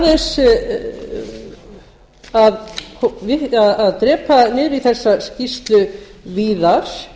verið fylgt eftir mig langar aðeins að drepa niður í þessa skýrslu víðar